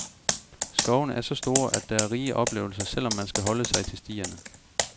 Skovene er så store, at der er rige oplevelser, selv om man skal holde sig til stierne.